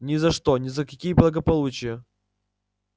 ни за что ни за какие благополучия